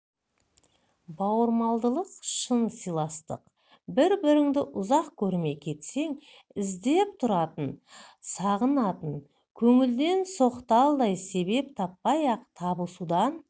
бауырмалдылық шын сыйластық бір-біріңді ұзақ көрмей кетсең іздеп тұратын сағынатын көңілден соқталдай себеп таппай-ақ табысудан